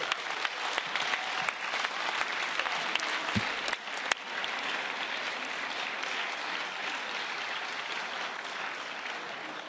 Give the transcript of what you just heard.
Voglio ricordare a tutti i parlamentari che intervengono che questo non è il Parlamento italiano, non è un dibattito sull'Italia.